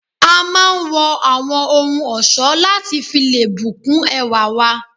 A máà ń wọ awọn ohun ọ̀ṣọ lati fi lé bu kún ẹwá wa